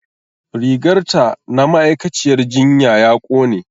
Rigar ta na ma'aikaciyyar jinya ya ƙone